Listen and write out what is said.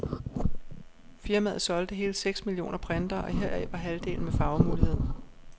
Firmaet solgte hele seks millioner printere, og heraf var halvdelen med farvemulighed.